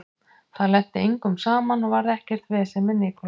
Það lenti engum saman og varð ekkert vesen með Nicolas.